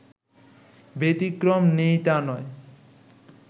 ব্যতিক্তম নেই তা নয়